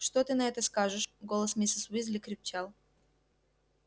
что ты на это скажешь голос миссис уизли крепчал